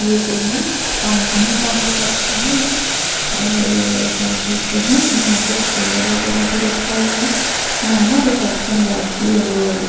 ये कोई न कंपनी का हो सकता है ये और क्या बोलते है यहाँ पे चेयर वगेरा भी रखा हुआ है यहाँ ना रिसेप्शन बैठती है जो --